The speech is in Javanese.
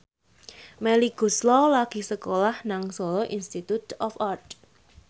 Melly Goeslaw lagi sekolah nang Solo Institute of Art